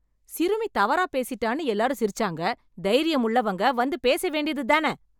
சிறுமி தவறா பேசிட்டான்னு எல்லாரும் சிரிச்சாங்க, தைரியம் உள்ளவங்க வந்து பேச வேண்டியது தான?